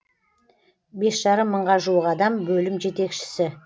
бес жарым мыңға жуық адам бөлім жетекшісі